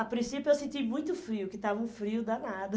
A princípio eu senti muito frio, que estava um frio danado.